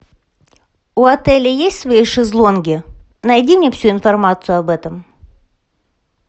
у отеля есть свои шезлонги найди мне всю информацию об этом